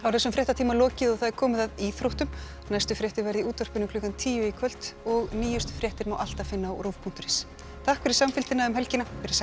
þessum fréttatíma lokið og það er komið að íþróttum næstu fréttir verða í útvarpinu klukkan tíu í kvöld og nýjustu fréttir má alltaf finna á rúv punktur is takk fyrir samfylgdina um helgina veriði sæl